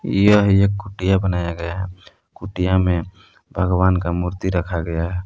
यह एक कूट्टियां बनाया गया है कूट्टियां में भगवान का मूर्ति रखा गया है।